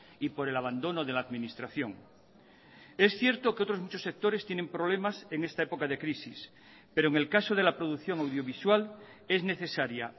y por el abandono de la administración es cierto que otros muchos sectores tienen problemas en esta época de crisis pero en el caso de la producción audiovisual es necesaria